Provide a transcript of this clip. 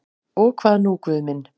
Og hvað nú Guð minn?